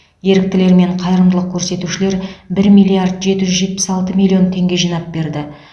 еріктілер мен қайырымдылық көрсетушілер бір миллиард жеті жүз жетпіс алты миллион теңге жинап берді